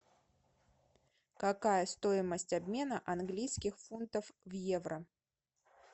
какая стоимость обмена английских фунтов в евро